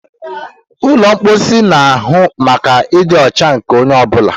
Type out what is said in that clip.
Ụlọ mposi na-ahụ maka ịdị ọcha nke onye ọ bụla.